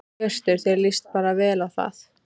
Hjörtur: Þér lýst bara vel á það?